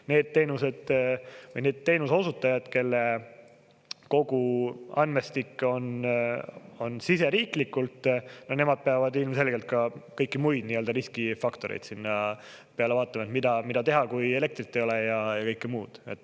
Need teenused või teenuse osutajad, kelle kogu andmestik on siseriiklikult, peavad ilmselgelt ka kõiki muid nii-öelda riskifaktoreid vaatama: mida teha, kui elektrit ei ole, ja kõike muud.